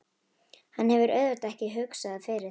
Hann hefur auðvitað ekki hugsað fyrir því?